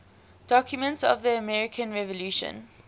documents of the american revolution